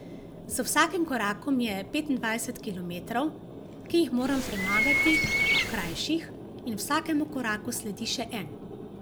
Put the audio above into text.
Z vsakim korakom je petindvajset kilometrov, ki jih moram premagati, krajših, in vsakemu koraku sledi še en.